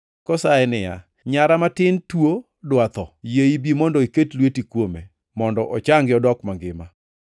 kosaye niya, “Nyara matin tuo dwa tho, yie ibi mondo iket lweti kuome mondo ochangi odok mangima.”